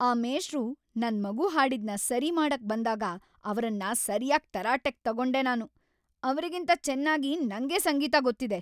ಆ ಮೇಷ್ಟ್ರು ನನ್ ಮಗು ಹಾಡಿದ್ನ ಸರಿ ಮಾಡಕ್ ಬಂದಾಗ ಅವ್ರನ್ನ ಸರ್ಯಾಗ್‌ ತರಾಟೆಗ್‌ ತಗೊಂಡೆ ನಾನು, ಅವ್ರಿಗಿಂತ ಚೆನ್ನಾಗಿ ನಂಗೇ ಸಂಗೀತ ಗೊತ್ತಿದೆ.